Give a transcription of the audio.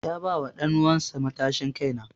Ya ba wa danuwan sa matashin kai na.